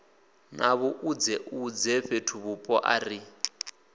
na vhuṱudzeṱudze fhethuvhupo a ri